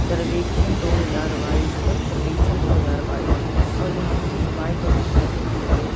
सर्वेक्षण दो हजार बाईस स्वच्छ सर्वेक्षण दो हजार बाईस और यहाँ पे कुच्छ बाइक और कुछ साइकीले भी लगे हुए--